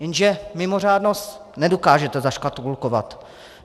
Jenže mimořádnost nedokážete zaškatulkovat.